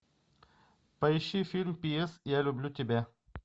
поищи фильм пи эс я люблю тебя